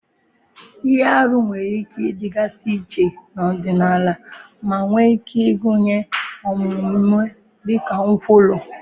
Ihe arụ nwere ike ịdịgasị iche n'ọdịnala ma nwee ike ịgụnye omume dịka nkwulu.